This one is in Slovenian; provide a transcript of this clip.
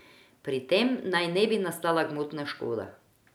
Pri tem naj ne bi nastala gmotna škoda.